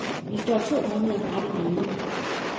Vi står to måneder fra det hele.